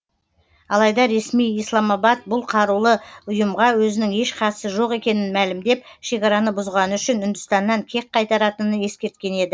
алайда ресми исламабад бұл қарулы ұйымға өзінің еш қатысы жоқ екенін мәлімдеп шекараны бұзғаны үшін үндістаннан кек қайтаратынын ескерткен еді